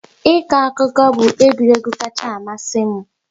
Ịkọ akụkọ bụ egwuregwu kacha amasị m